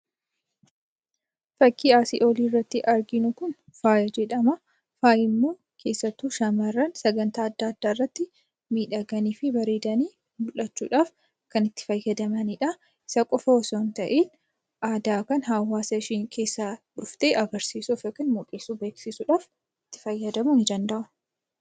Fakkiin asii olirratti arginu kun faaya jedhama. Faayi ammoo keessattuu shamarran qophii adda addaa irratti miidhaganiifi bareedanii mul'achuudhaaf kan itti fayyadamanidha. Isan qofa osoo hinta'inn aadaa kan hawaasa isheen keessaa dhufte agarsiisuuf, mul'isuuf, beeksisuudhaaf itti fayyadamuu ni danda'u.